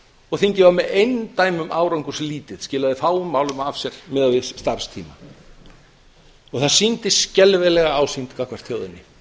og þingið var með eindæmum árangurslítið skilaði fáum málum af sér miðað við starfstíma það sýndi skelfilega ásýnd gagnvart þjóðinni